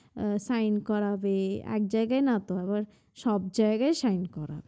আহ Sign করাবে এক জায়গায় নাতো আবার সব জায়াগায় sign করাবে